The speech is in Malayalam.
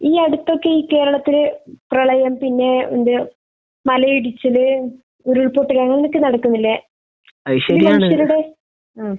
ഈ അടുത്ത് ഒക്കെ ഈ കേരളത്തിൽ പ്രളയം പിന്നെ എന്താ മലയിടിച്ചൽ, ഉരുൾപൊട്ടൽ അങ്ങനെയൊക്കെ നടക്കുന്നില്ലേ. അഹ്.